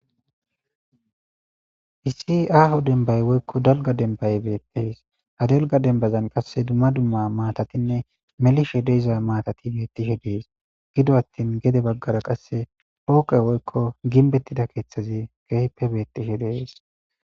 issi aaho dembay woykko dalga denbaye beettees ha dalga dembazan qasse dumma dumma maatatinne melishe deiza maatati beettihe dees gido attin gede baggara qasse hooqe woykko ginbettida keeththazi geehppe beettishe dees